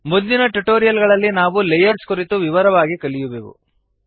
ಮುಂದಿನ ಟ್ಯುಟೋರಿಯಲ್ ಗಳಲ್ಲಿ ನಾವು ಲೇಯರ್ಸ್ ಕುರಿತು ವಿವರವಾಗಿ ಕಲಿಯುವೆವು